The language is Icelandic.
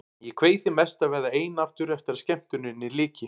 Ég kveið því mest að verða ein aftur eftir að skemmtuninni lyki.